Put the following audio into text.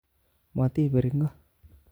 Motibir ingo